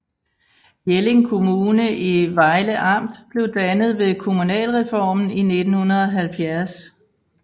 Jelling Kommune i Vejle Amt blev dannet ved kommunalreformen i 1970